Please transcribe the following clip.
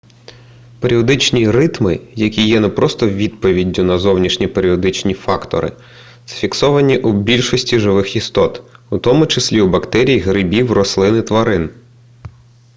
періодичні ритми які є не просто відповіддю на зовнішні періодичні фактори зафіксовані у більшості живих істот у тому числі у бактерій грибів рослин і тварин